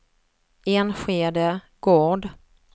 Enskede Gård